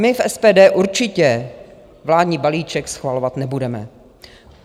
My v SPD určitě vládní balíček schvalovat nebudeme.